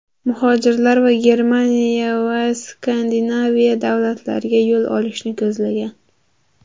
Muhojirlar Germaniya va Skandinaviya davlatlariga yo‘l olishni ko‘zlagan.